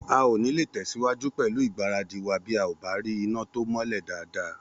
A ò nílé tẹ̀síwájú pẹ̀lú ìgbáradì wa bí a ò bá rí iná tí ó mọ́lẹ̀ dáadáa